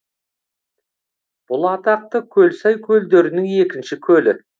бұл атақты көлсай көлдерінің екінші көлі